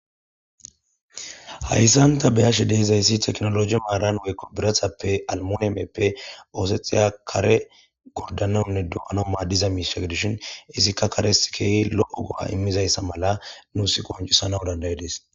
Haysan ta be'ashshe de'izayssi tekinoloje maran woykko birrattappe almuneppe ossetiza kare Gorda aw dumma dumma diza mishsha gidishshin izikka kares ke'i lo'o go'a imiiza mala nussi qoncissanaw danda'idees